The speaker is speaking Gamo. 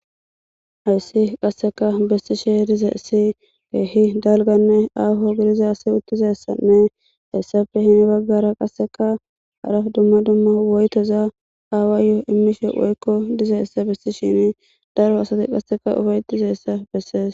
Ayssi qasseka bessi she dize ssi keehi dalganne aafo gidiza asi uttizessanne hessafe hini baggara qasseka haraf dumma dumma woytoza aawa yoo immishe woykko dizeyssa bessi shin daro asati qasseka ufaytizessa bessees